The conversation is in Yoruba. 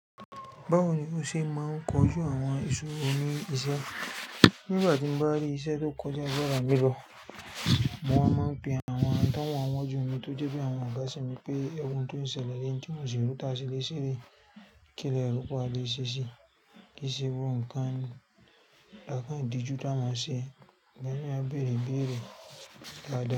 Báwo ni o ṣe máa ń kojú àwọn isoro ní iṣẹ́? Nígbà tí mo bá rí iṣẹ́ tó kọjá agbára mi lo, mo wá máa ń be àwọn tán wà n'wájú mi tó jẹ́ bí àwọn ọ̀gá sì mi pé, ẹ̀wọ̀ oun tó ń ṣẹlẹ̀ ní oún ti mo n ṣèré tà sele sé rèé. Kí lè rò páa lé ṣe ṣi, kí se gbogbo nkán, làkàn dijù tá máa ṣe, ìgbà míì á bẹ̀rẹ̀ ìbẹ̀rẹ̀ padà.